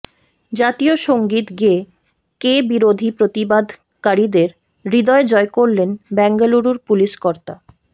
জাতীয় সংগীত গেয়ে ক্যা বিরোধী প্ৰতিবাদকারীদের হৃদয় জয় করলেন বেঙ্গালুরুর পুলিশ কর্তা